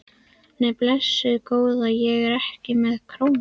Nei, blessuð góða. ég er ekki með krónu!